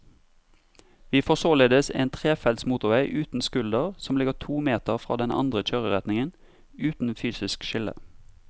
Vi får således en trefelts motorvei uten skulder som ligger to meter fra den andre kjøreretningen, uten fysisk skille.